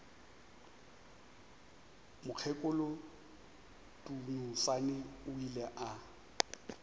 mokgekolo dunusani o ile a